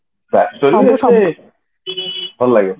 ଭଲଲାଗେ